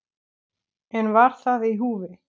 En var það í húfi?